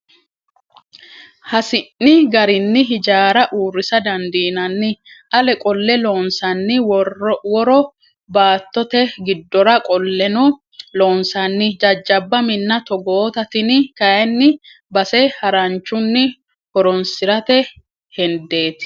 Hasi'ni garinni hijaara uurrisa dandiinanni ale qolleno loonsanni woro baattote giddora qolleno loonsanni jajjabba minna togootta tini kayinni base haranchunni horonsirate hendeti.